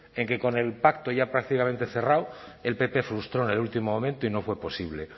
en que con el pacto ya prácticamente cerrado el pp frustró en el último momento y no fue posible